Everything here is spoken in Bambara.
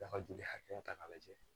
A ka joli hakɛya ta k'a lajɛ